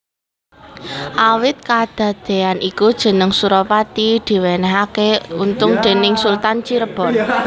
Awit kadadean iku jeneng Surapati diwenehaké Untung déning Sultan Cirebon